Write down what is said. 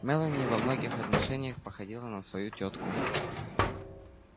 мелани во многих отношениях походила на свою тётку